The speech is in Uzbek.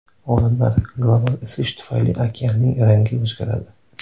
Olimlar: global isish tufayli okeanning rangi o‘zgaradi.